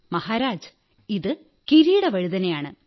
മഹാരാജ് ഇത് കിരീടവഴുതനയാണ്